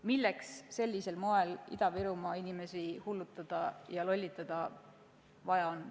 Miks on vaja Ida-Virumaa inimesi sellisel moel hullutada ja lollitada?